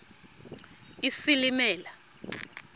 isilimela